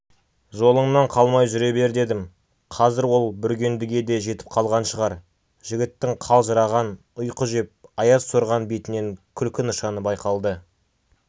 жолыңнан қалмай жүре бер дедім қазір ол бүргендіге де жетіп қалған шығар жігіттің қалжыраған ұйқы жеп аяз сорған бетінен күлкі нышаны байқалды